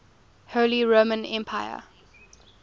holy roman emperor